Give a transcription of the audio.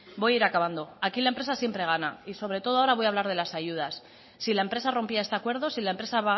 voy a ir acabando aquí la empresa siempre gana y sobre todo ahora voy a hablar de las ayudas si la empresa rompía este acuerdo si la empresa